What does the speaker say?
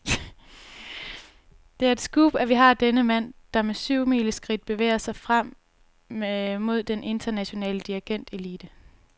Det er et scoop, at vi har denne mand, der med syvmileskridt bevæger sig frem mod den internationale dirigentelite.